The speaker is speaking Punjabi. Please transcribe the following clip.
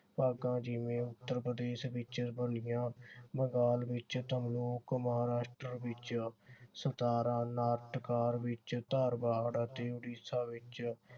ਭਾਗਾਂ ਜਿਵੇਂ ਉੱਤਰ ਪ੍ਰਦੇਸ਼ ਵਿਚ ਲੱਲੀਆ, ਬੰਗਾਲ ਵਿਚ ਮਹਾਰਾਸ਼ਟਰ ਵਿਚ ਸਤਾਰਾਂ ਵਿਚ ਧਾਰਬਾੜ ਅਤੇ ਉੜੀਸਾ ਵਿਚ